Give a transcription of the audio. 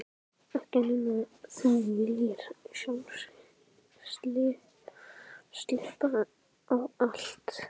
Ekki nema þú viljir sjálf klippa á allt.